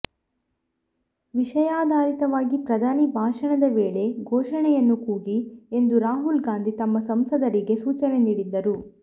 ವಿಷಯಾಧಾರಿತವಾಗಿ ಪ್ರಧಾನಿ ಭಾಷಣದ ವೇಳೆ ಘೋಷಣೆಯನ್ನು ಕೂಗಿ ಎಂದು ರಾಹುಲ್ ಗಾಂಧಿ ತಮ್ಮ ಸಂಸದರಿಗೆ ಸೂಚನೆ ನೀಡಿದ್ದರು